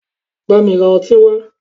Bámi ra ọtí wá!